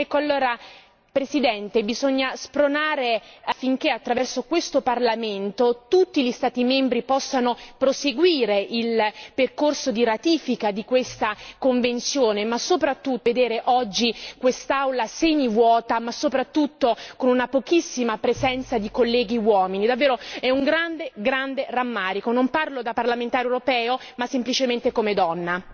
Allora, Presidente, bisogna spronare affinché attraverso questo Parlamento tutti gli Stati membri possano proseguire il percorso di ratifica di questa convenzione. Ma vedere oggi quest'Aula semivuota e soprattutto con una pochissima presenza di colleghi uomini che rammarico! Davvero è un grande, grande rammarico, non parlo da parlamentare europea ma semplicemente come donna!